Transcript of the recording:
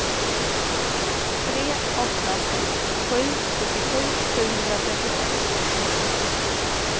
tre åtta sex sju sjuttiosju sjuhundratrettiosex